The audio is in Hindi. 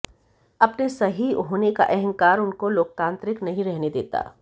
अपने सही होने का अहंकार उनको लोकतांत्रिक नहीं रहने देता